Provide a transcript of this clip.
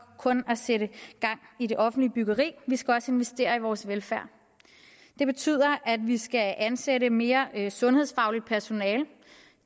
kun at sætte gang i det offentlige byggeri vi skal også investere i vores velfærd det betyder at vi skal ansætte mere sundhedsfagligt personale